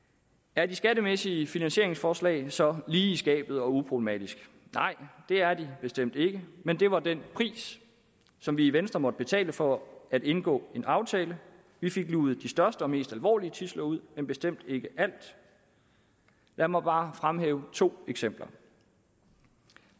er de skattemæssige finansieringsforslag så lige i skabet og uproblematiske nej det er de bestemt ikke men det var den pris som vi i venstre måtte betale for at indgå en aftale vi fik luget de største og mest alvorlige tidsler ud men bestemt ikke alt lad mig bare fremhæve to eksempler